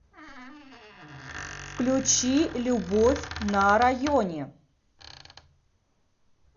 включи любовь на районе